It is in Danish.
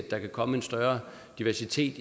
der kan komme en større diversitet